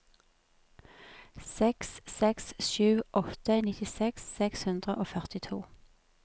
seks seks sju åtte nittiseks seks hundre og førtito